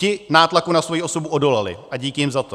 Ti nátlaku na svoji osobu odolali a díky jim za to.